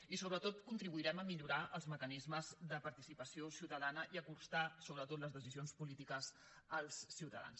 i sobretot contribuirem a millorar els mecanismes de participació ciutadana i a acostar sobretot les decisions polítiques als ciutadans